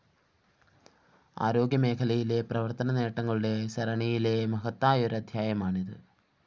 ആരോഗ്യമേഖലയിലെ പ്രവര്‍ത്തനനേട്ടങ്ങളുടെ സരണിയിലെ മഹത്തായൊരധ്യായമാണിത്